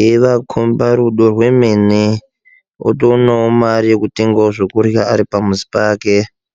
eivakomba duro rwemene uonewo mari yekutenga zvekurya ari pamuzi pake.